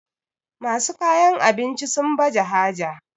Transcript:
masu kayan abinci sun baje haja